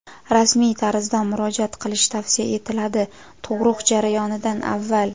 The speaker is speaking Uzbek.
rasmiy tarzda murojaat qilish tavsiya etiladi (tug‘ruq jarayonidan avval).